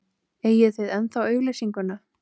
Eigið þið ennþá auglýsinguna?